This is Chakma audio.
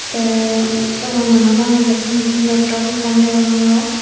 te dogana not agede com laptop ekkan degongor.